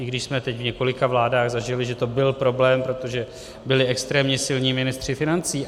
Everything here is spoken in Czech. I když jsme teď v několika vládách zažili, že to byl problém, protože byli extrémně silní ministři financí.